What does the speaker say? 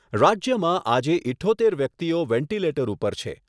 રાજ્યમાં આજે ઈઠ્ઠોતેર દર્દીઓ વેન્ટીલેટર ઉપર છે.